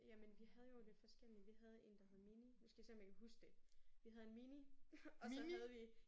Jemn vi havde jo lidt forskellige. Vi havde en der hed Mini. Nu skal jeg se om jeg kan huske det. Vi havde Mini og så havde vi